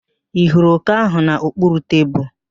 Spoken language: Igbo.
Ị hụrụ òké ahụ n'okpuru tebulu?